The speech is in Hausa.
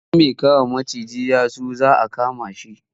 Idan mai kama macijin ya zo za a kama shi.